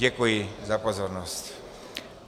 Děkuji za pozornost.